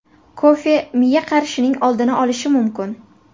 Kofe miya qarishining oldini olishi mumkin.